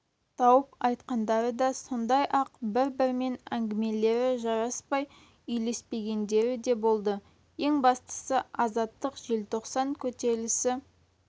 тауып айтқандары да сондай-ақ бір-бірімен әңгімелері жараспай үйлеспегендері де болды ең бастысы азаттық желтоқсан көтерілісі